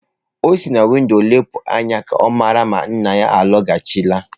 O si na windo lepụ anya ka ọ mara ma nna ya alọghachila.